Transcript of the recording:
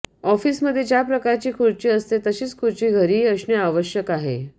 ऑफिसमध्ये ज्या प्रकारची खुर्ची असते तशीच खुर्ची घरीही असणे आवश्यक आहे